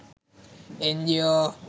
NGO